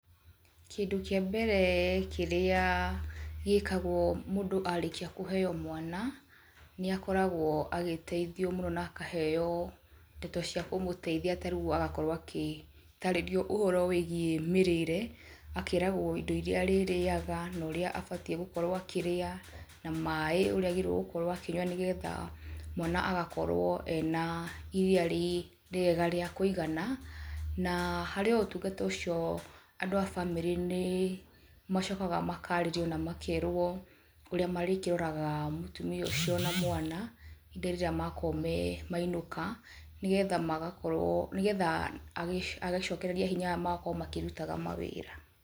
Kĩndũ kĩa mbere kĩrĩa gĩkagwo mũndũ arĩkia kũheo mwana, nĩ akoragwo agĩteithio mũno na akaheo ndeto cia kũmũteithia tarĩu agakorwo agĩtarĩrio ũhoro wĩgiĩ mĩrĩre akeragwo indo iria arĩaga na ũrĩa abatiĩ gũkorwo akĩrĩa na maĩ ũrĩa agĩrĩire gũkorwo akĩnyua nĩgetha mwana agakorwo ena iria rĩega rĩa kũigana, na harĩ o ũtungata ũcio andũ a bamĩrĩ macokaga makerwo ũrĩa marĩkĩroraga mũtumia ũcio na mwana ihinda rĩrĩa makorwo mainũka, nĩgetha agĩcokereria hinya magakorwo makĩrutaga mawira.